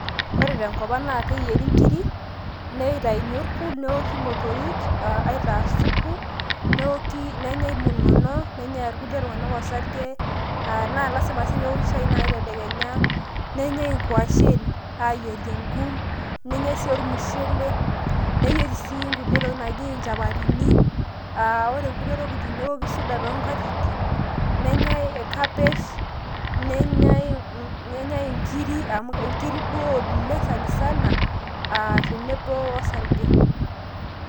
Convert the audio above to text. ore tenkopang naa keyieri inkiri, neitayuni orpul ,neoki motorik a aitaa supu, neoki ,nenyae munono, nenyae irkulie tunganak osarge aa naa lasima si nai peoki shai tedekenya ,nenyai inkwashen ayierie enkum ,nenyae sii ormushele ,neyieri sii nkulie tokitin naji nchapatini aa ore nkulie tokitin neoki suda toonkatitin ,nenyae cabesh, nenyae ,nenyae inkirri amu inkirri duo oleng sanisana aa tenebo orsarge